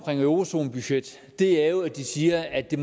eurozonebudget er at de siger at det